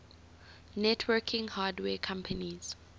networking hardware companies